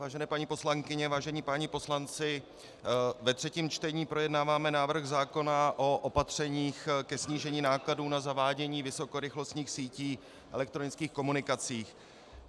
Vážené paní poslankyně, vážení páni poslanci, ve třetím čtení projednáváme návrh zákona o opatřeních ke snížení nákladů na zavádění vysokorychlostních sítí elektronických komunikací.